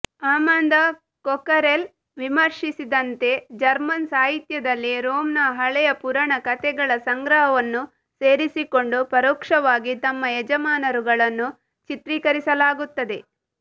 Amanda Cockerell ವಿಮರ್ಷಿಸಿದಂತೆ German ಸಾಹಿತ್ಯದಲ್ಲಿ ರೋಮ್ನ ಹಳೆಯ ಪುರಾಣ ಕಥೆಗಳ ಸಂಗ್ರಹವನ್ನು ಸೇರಿಸಿಕೊಂಡು ಪರೋಕ್ಷವಾಗಿ ತಮ್ಮ ಯಜಮಾನರುಗಳನ್ನು ಚಿತ್ರಿಕರಿಸಲಾಗುತ್ತದೆ